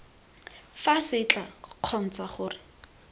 fa se tla kgontsha gore